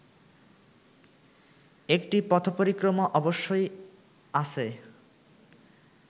একটি পথপরিক্রমা অবশ্য আছে